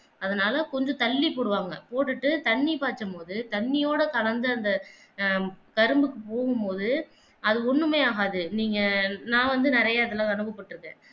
அதனால கொஞ்சம் தள்ளி போடுவாங்க போட்டுட்டு தண்ணி பாய்ச்சும் போது தண்ணியோட கலந்த அந்த ஆஹ் கரும்பு பொது அது ஒண்ணுமே ஆகாது நீங்க நான் வந்து நிறைய தடவை போட்டிருக்கேன்